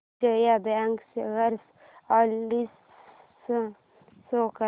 Vijaya bank share analysis show कर